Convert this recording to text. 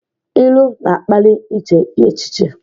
Ilu na-akpali iche echiche.